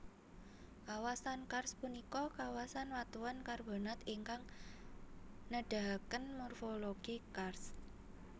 Kawasan karst punika kawasan watuan karbonat ingkang nedahaken morfologi karst